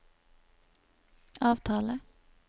avtale